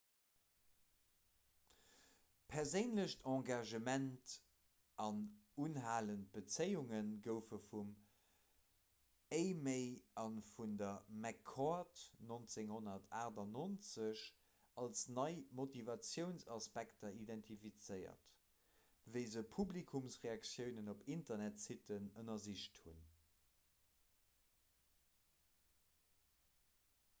'perséinlecht engagement' an 'unhalend bezéiunge' goufe vum eighmey a vun der mccord 1998 als nei motivatiounsaspekter identifizéiert wéi se publikumsreaktiounen op internetsitten ënnersicht hunn